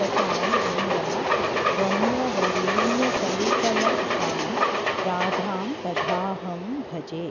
सतां वृन्दारण्यवरेण्यकल्पलतिकां राधां कदाहं भजे